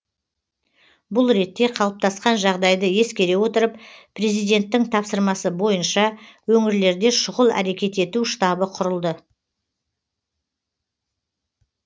бұл ретте қалыптасқан жағдайды ескере отырып президенттің тапсырмасы бойынша өңірлерде шұғыл әрекет ету штабы құрылды